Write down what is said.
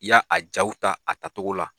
I y'a a jaw ta a tacogo la